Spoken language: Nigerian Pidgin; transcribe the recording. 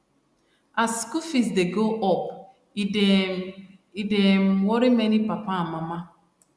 as school fees dey go up e dey um e dey um worry many papa and mama